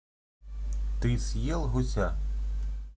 ты съел гуся